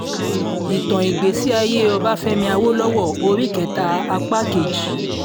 ìtàn ìgbésí ayé ọbáfẹ́mi àwòlọ́wọ́ orí kẹta apá kejì